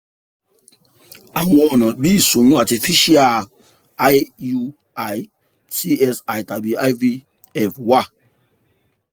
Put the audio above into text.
àwọn ọna bi ìsoyun artificial iui icsi tabi ivf wa